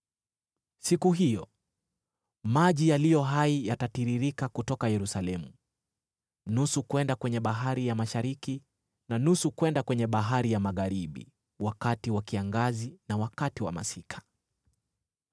Siku hiyo, maji yaliyo hai yatatiririka kutoka Yerusalemu, nusu kwenda kwenye bahari ya mashariki, na nusu kwenda kwenye bahari ya magharibi wakati wa kiangazi na wakati wa masika.